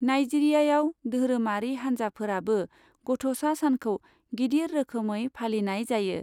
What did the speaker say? नाइजीरियायाव दोहोरोमारि हानजाफोराबो गथ'सा सानखौ गिदिर रोखोमै फालिनाय जायो।